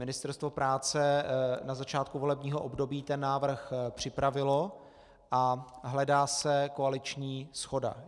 Ministerstvo práce na začátku volebního období ten návrh připravilo a hledá se koaliční shoda.